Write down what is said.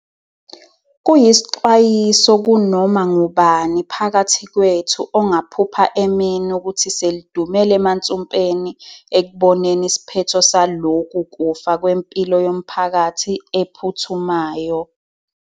Kuyisixwayiso kunoma ngubani phakathi kwethu ongaphupha emini ukuthi selidumela emansumpeni ekuboneni isiphetho saloku kufa kwempilo yomphakathi ephuthumayo.